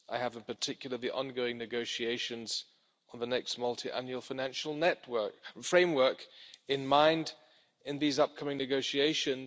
I have, in particular, the ongoing negotiations on the next multiannual financial framework in mind in these upcoming negotiations.